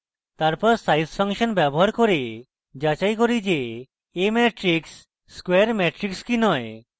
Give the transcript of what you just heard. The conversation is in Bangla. তারপর size ফাংশন ব্যবহার করে যাচাই করি যে a matrix square matrix কি নয়